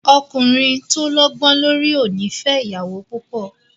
Ọkùnrin tó lọ́gbó lórí ò ní fẹ ìyàwó púpọ̀.